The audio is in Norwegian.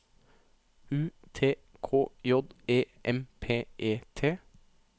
U T K J E M P E T